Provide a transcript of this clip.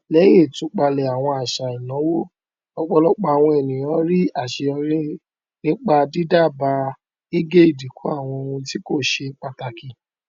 lẹyìn ìtúpalẹ àwọn àṣà ìnáwó ọpọlọpọ àwọn ènìyàn rí aṣeyọrí nípa dídábàà gígé ìdínkù àwọn ohun tí kò ṣe pàtàkì